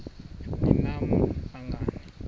ni nam nangani